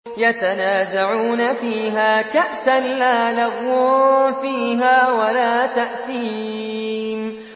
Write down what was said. يَتَنَازَعُونَ فِيهَا كَأْسًا لَّا لَغْوٌ فِيهَا وَلَا تَأْثِيمٌ